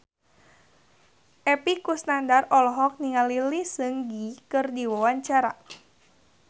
Epy Kusnandar olohok ningali Lee Seung Gi keur diwawancara